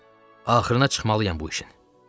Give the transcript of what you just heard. Axırına çıxmalıyam bu işin.